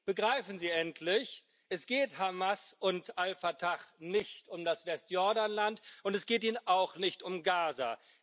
Begreifen Sie endlich Es geht Hamas und Al Fatah nicht um das Westjordanland, und es geht ihnen auch nicht um Gaza.